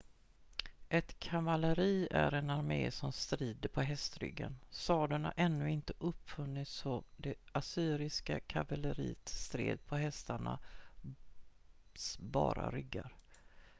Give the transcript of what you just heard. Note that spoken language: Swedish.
ett kavalleri är en armé som strider på hästryggen sadeln hade ännu inte uppfunnits så det assyriska kavalleriet stred på hästarnas bara ryggar